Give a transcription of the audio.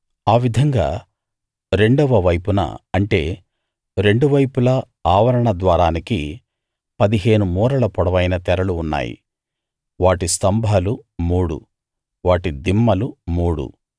ఆ విధంగా రెండవ వైపున అంటే రెండు వైపులా ఆవరణ ద్వారానికి పదిహేను మూరల పొడవైన తెరలు ఉన్నాయి వాటి స్తంభాలు మూడు వాటి దిమ్మలు మూడు